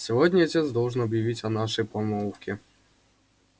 сегодня отец должен объявить о нашей помолвке